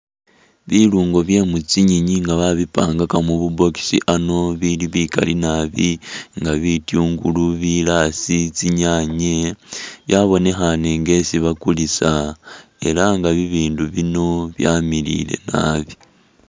Biluungo bye mu tsinyenyi nga babipangaka mu bu box ano ibili bikali nabi nga bityungulu, bilaasi, tsinyaanye byabonekhaane nga esi bakulisa, ela bibindu bino byamiliyile nabi.